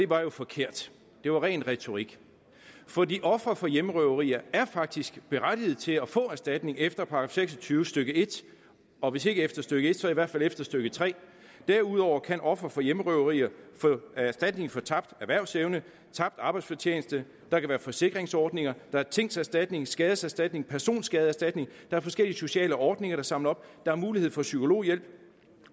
var forkert det var ren retorik fordi ofre for hjemmerøverier faktisk berettiget til at få erstatning efter § seks og tyve stykke en og hvis ikke efter stykke en så i hvert fald efter stykke tredje derudover kan ofre for hjemmerøverier få erstatning for tabt erhvervsevne tabt arbejdsfortjeneste der kan være forsikringsordninger der er tingserstatning skadeserstatning personskadeerstatning der er forskellige sociale ordninger der samler op der er mulighed for psykologhjælp